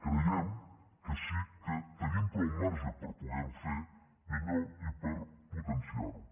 creiem que sí que tenim prou marge per poderho fer millor i per potenciarho